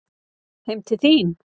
Heim til þín?